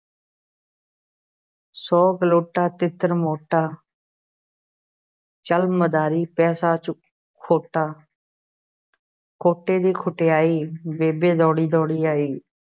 ਸੌ ਗਲੋਟਾ ਤਿੱਤਰ ਮੋਟਾ ਚੱਲ ਮਦਾਰੀ ਪੈਸਾ ਚੁ ਖੋਟਾ ਖੋਟੇ ਦੀ ਖਟਿਆਈ ਬੇਬੇ ਦੌੜੀ-ਦੌੜੀ ਆਈ।